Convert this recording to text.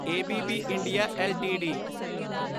A B B India LTD